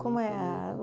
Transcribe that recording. Como é a?